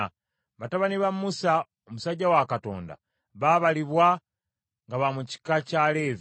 Batabani ba Musa omusajja wa Katonda babalibwa nga ba mu kika kya Leevi.